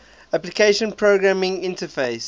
application programming interfaces